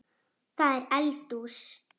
Það er eldhús.